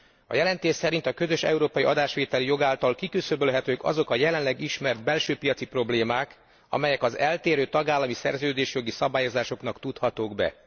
A jelentés szerint a közös európai adásvételi jog által kiküszöbölhetők azok a jelenleg ismert belső piaci problémák, amelyek az eltérő tagállami szerződésjogi szabályozásoknak tudhatók be.